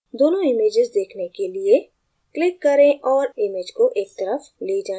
दोनों images देखने के लिए click करें और image को एक तरफ ले जाएं